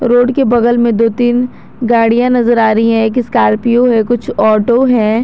Road के बगल में दो तीन गाड़िया नजर आ रही है एक स्कॉर्पियो है कुछ ऑटो है।